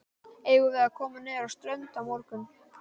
Eigum við að koma niður á strönd á morgun?